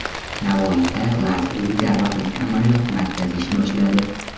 Navoiyda lazerli jarrohlik amaliyoti markazi ish boshladi.